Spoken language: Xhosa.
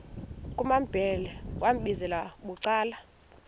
kumambhele wambizela bucala